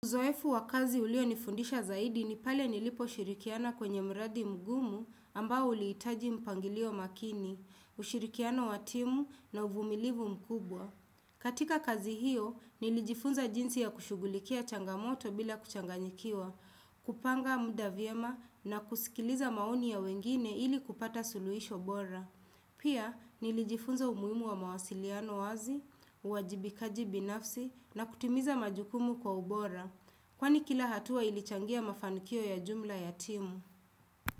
Uzoefu wa kazi ulionifundisha zaidi ni pale niliposhirikiana kwenye mradi mgumu ambao ulihitaji mpangilio makini, ushirikiano wa timu na uvumilivu mkubwa. Katika kazi hiyo, nilijifunza jinsi ya kushughulikia changamoto bila kuchanganyikiwa, kupanga muda vyema na kusikiliza maoni ya wengine ili kupata suluhisho bora. Pia, nilijifunza umuhimu wa mawasiliano wazi, uwajibikaji binafsi na kutimiza majukumu kwa ubora. Kwani kila hatua ilichangia mafanikio ya jumla ya timu.